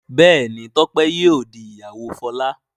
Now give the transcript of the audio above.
Béèni Tope yíò dì ìyàwó Fola.